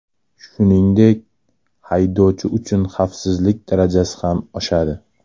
Shuningdek, haydovchi uchun xavfsizlik darajasi ham oshadi.